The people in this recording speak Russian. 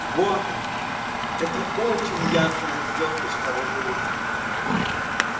вот она эта очень яркая звёздочка в углу